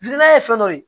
ye fɛn dɔ ye